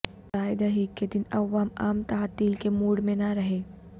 رائے دہی کے دن عوام عام تعطیل کے موڈ میں نہ رہیں